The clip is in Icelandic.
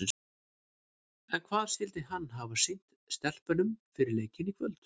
En hvað skyldi hann hafa sýnt stelpunum fyrir leikinn í kvöld?